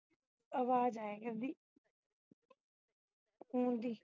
ਆਵਾਜ਼ ਆਇਆ ਕਰਦੀ phone ਦੀ